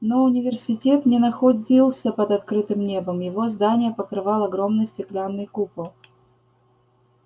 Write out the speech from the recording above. но университет не находился под открытым небом его здания покрывал огромный стеклянный купол